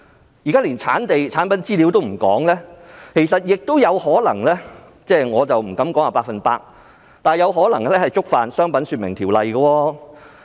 現時更是連生產地和產品資料也欠奉，其實它有可能——我不敢說是 100%—— 觸犯了《商品說明條例》。